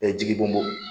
jigi bɔn bɔn